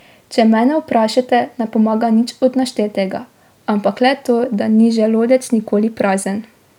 Če mene vprašate, ne pomaga nič od naštetega, ampak le to, da ni želodec nikoli prazen.